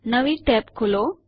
નવી ટેબ ખોલો